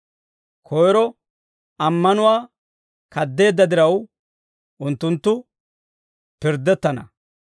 Koyro ammanuwaa kad'eedda diraw, unttunttu pirddettana.